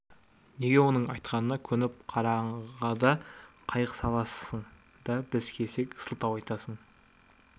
неге оның айтқанына көніп қараңғыда қайық саласың да біз келсек сылтау айтасың